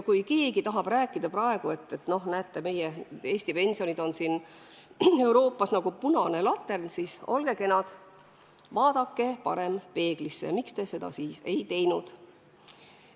Kui keegi tahab rääkida, et Eesti pensionid on Euroopas nagu punane latern, siis olge kenad ja vaadake parem peeglisse: miks te seda siis ei ole ise teinud?